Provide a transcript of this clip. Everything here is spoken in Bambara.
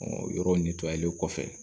yɔrɔ kɔfɛ